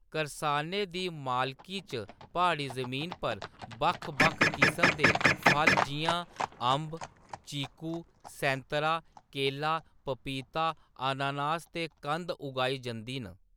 करसाने दी मालकी च प्हाड़ी जमीन पर बक्ख-बक्ख किसम दे फल जिʼयां अंब, चीकू, सैंतरा, केला, पपीता, अनानास ते कंद उगाई जंदी न।